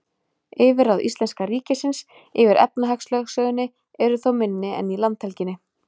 Yfirráð íslenska ríkisins yfir efnahagslögsögunni eru þó minni en í landhelginni.